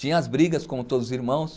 Tinha as brigas, como todos os irmãos.